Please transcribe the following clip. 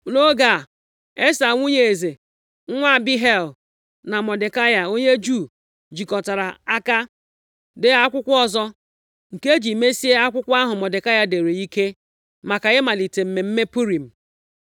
Nʼoge a, Esta nwunye eze, nwa Abihail, na Mọdekai onye Juu jikọtara aka dee akwụkwọ ọzọ nke e ji mesie akwụkwọ ahụ Mọdekai dere ike, maka ịmalite mmemme Purim.